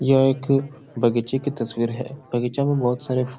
यह एक बगीचे की तस्वीर है। बगीचा में बहुत सारे फु --